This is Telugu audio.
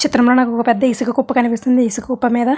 చిత్రం లో నాకు ఒక పెద్ద ఇసుక కుప్ప కనిపిస్తుంది ఈ ఇసుక కుప్ప మీద --